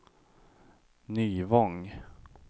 Nyvång